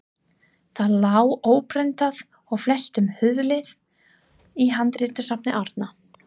Það lá óprentað og flestum hulið í handritasafni Árna.